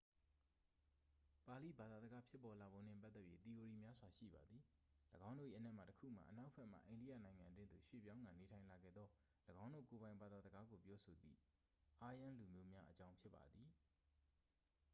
ပါဠိဘာသာစကားဖြစ်ပေါ်လာပုံနှင့် ပတ်သက်၍ သီအိုရီများစွာ ရှိပါသည် ၎င်းတို့၏အနက်မှတစ်ခုမှာ အနောက်ဘက်မှ အိန္ဒိယနိုင်ငံအတွင်းသို့ရွှေ့ပြောင်းကာ နေထိုင်လာခဲ့သော ၎င်းတို့ကိုယ်ပိုင် ဘာသာစကားကိုပြောဆိုသည့် aryan လူမျိုးများအကြောင်း ဖြစ်ပါသည်